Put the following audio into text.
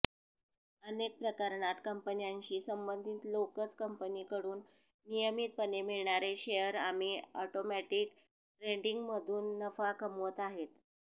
अनेक प्रकरणात कंपन्यांशी संबंधित लोकच कंपनीकडून नियमितपणे मिळणारे शेअर आमि ऑटोमॅटिक ट्रेंडिंगमधून नफा कमवत आहेत